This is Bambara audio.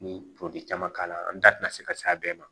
Ni caman k'a la an da tɛna se ka se a bɛɛ ma